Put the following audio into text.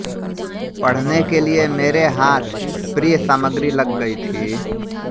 पढ़ने के लिए मेरे हाथ प्रिय सामग्री लग गयी थी